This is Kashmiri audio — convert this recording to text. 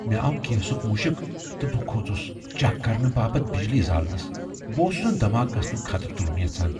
مےٚ آو گیسک مُشك تہٕ بہٕ كھوژس چیک کرنہٕ باپت بِجلی زالنس ۔ بہٕ اوسُس نٕہ دھماكہٕ گژھنُك خطرٕ تُلُن یژھان ۔